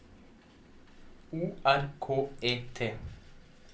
O R K E T